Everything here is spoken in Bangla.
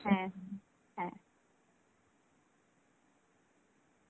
হ্যাঁ হ্যাঁ, হ্যাঁ.